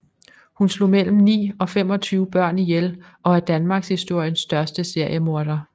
Hun slog mellem ni og 25 børn ihjel og er danmarkshistoriens største seriemorder